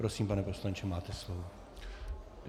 Prosím, pane poslanče, máte slovo.